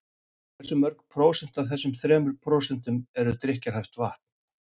Hversu mörg prósent af þessum þremur prósentum er drykkjarhæft vatn?